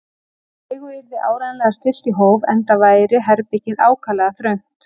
Leigu yrði áreiðanlega stillt í hóf, enda væri herbergið ákaflega þröngt.